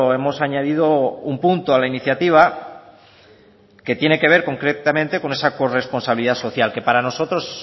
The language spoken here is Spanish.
hemos añadido un punto a la iniciativa que tiene que ver concretamente con esa corresponsabilidad social que para nosotros